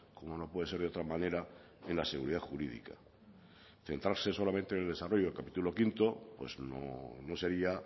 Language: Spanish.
como no puedo ser de otra manera en la seguridad jurídica centrarse solamente en el desarrollo del capítulo quinto pues no sería